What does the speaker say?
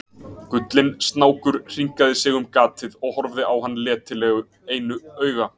Gullinn snákur hringaði sig um gatið og horfði á hann letilega einu auga.